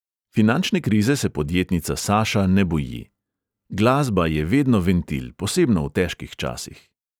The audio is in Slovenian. Finančne krize se podjetnica saša ne boji: “glasba je vedno ventil, posebno v težkih časih.”